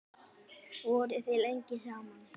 Voruð þið lengi saman?